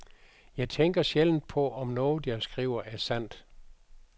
Jeg tænker sjældent på, om noget, jeg skriver, er sandt.